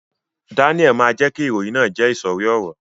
Daniel ma jẹ ki ìròyìn náà jẹ isori ọrọ.